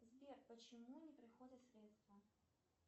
сбер почему не приходят средства